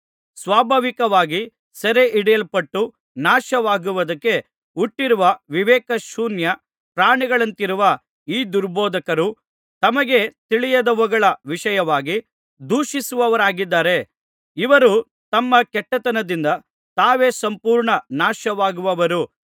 ಸ್ವಾಭಾವಿಕವಾಗಿ ಸೆರೆಹಿಡಿಯಲ್ಪಟ್ಟು ನಾಶವಾಗುವುದಕ್ಕೆ ಹುಟ್ಟಿರುವ ವಿವೇಕಶೂನ್ಯ ಪ್ರಾಣಿಗಳಂತಿರುವ ಈ ದುರ್ಬೋಧಕರು ತಮಗೆ ತಿಳಿಯದವುಗಳ ವಿಷಯವಾಗಿ ದೂಷಿಸುವವರಾಗಿದ್ದಾರೆ ಇವರು ತಮ್ಮ ಕೆಟ್ಟತನದಿಂದ ತಾವೇ ಸಂಪೂರ್ಣ ನಾಶವಾಗುವರು